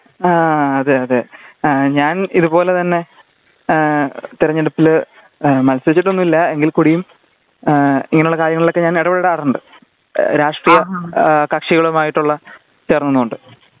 അതേ അതേ ഞാൻ ഇത് പോലെ തന്നെ എ തിരഞ്ഞെടുപ്പില് മത്സരിച്ചിട്ടൊന്നുമില്ല എങ്കില് കൂടിയും എ ഇങ്ങനെ ഉള്ള കാര്യങ്ങളിലൊക്കെ ഞാൻ ഇടപ്പെടാറുണ്ട് . രാഷ്ട്രീയ കക്ഷികളുമായിട്ടുള്ള ഇറങ്ങുന്നത് കൊണ്ട്